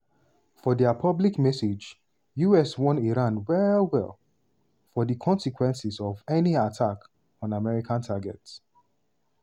for dia public message us warn iran well-well of di consequences of any attack on american targets.